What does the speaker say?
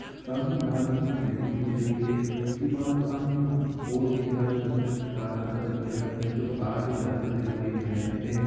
सामने लाल रंग की बिल्डिंग दिख रही है उसके पास सामने बोर्ड दिखरा है जो सफ़ेद लाल रंग का दिखाई दे रहा है कुछ तार भी जाते हुवे दिखाई दे रहे हैं।